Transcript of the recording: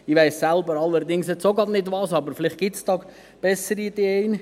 Ich weiss jetzt allerdings selber auch gerade nicht, was, aber vielleicht gibt es bessere Ideen.